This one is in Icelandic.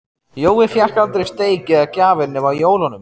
Jói fékk aldrei steik eða gjafir nema á jólunum.